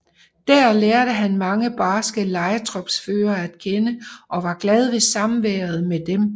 Dér lærte han mange barske lejetropsførere at kende og var glad ved samværet med dem